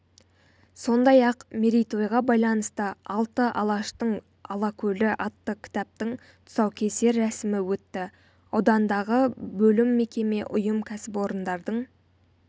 сондай-ақ мерейтойға байланысты алты алаштың алакөлі атты кітаптың тұсаукесер рәсімі өтті аудандағы бөлім мекеме ұйым кәсіпорындардың